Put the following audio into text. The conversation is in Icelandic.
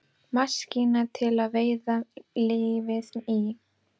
Maskína til að veiða lífið í.